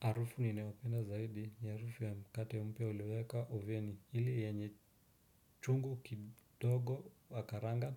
Harufu ninayopenda zaidi ni harufu ya mkate mpya ulioweka oveni ile yenye chungu kidogo wakaranga